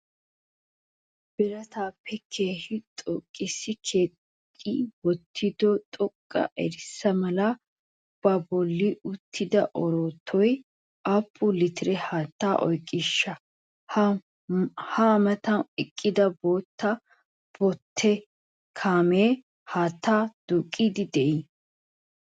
Birataappe keehii xoqqqissi kexxi wottido xoqqa arssa mala baa bolli uttida oroottoy aappu litire haattaa oyqqiishsha? Ha a matan eqqida bootta botte kaamee haattaa duuqqidi diiye?